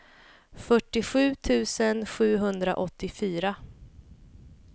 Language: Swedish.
fyrtiosju tusen sjuhundraåttiofyra